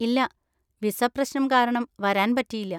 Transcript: ഇല്ല, വിസ പ്രശനം കാരണം വരാൻ പറ്റിയില്ല.